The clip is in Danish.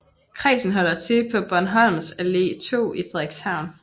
Kredsen holder til på Bornholmsalle 2 i Frederikshavn